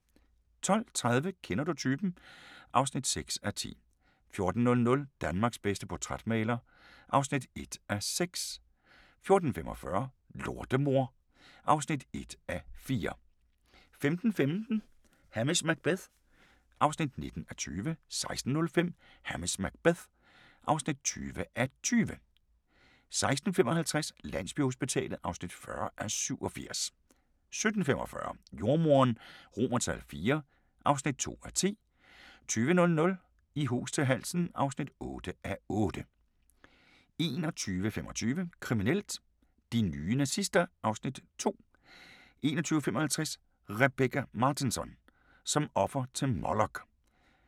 12:30: Kender du typen? (6:10) 14:00: Danmarks bedste portrætmaler (1:6) 14:45: Lortemor (1:4) 15:15: Hamish Macbeth (19:20) 16:05: Hamish Macbeth (20:20) 16:55: Landsbyhospitalet (40:87) 17:45: Jordemoderen IV (2:10) 20:00: I hus til halsen (8:8) 21:25: Kriminelt: De nye nazister (Afs. 2) 21:55: Rebecka Martinsson: Som offer til Molok